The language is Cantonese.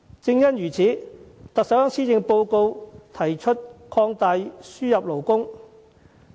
有見及此，特首在施政報告提出擴大輸入勞工。